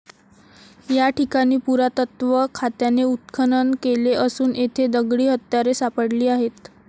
या ठिकाणी पुरातत्त्व खात्याने उत्खनन केले असून येथे दगडी हत्यारे सापडली आहेत.